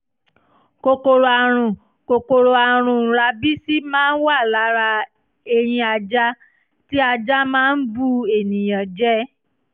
kòkòrò àrùn kòkòrò àrùn rábísí máa ń wà lára eyín ajá (tí ajá máa ń bu ènìyàn jẹ)